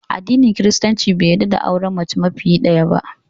Addinin Kiristanci bai yarda da auren mace fiye da ɗaya ba